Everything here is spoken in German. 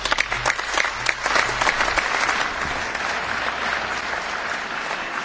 Meine Damen und Herren, die Konferenz der Präsidenten hat das beschlossen, was ich Ihnen gerade mitgeteilt habe.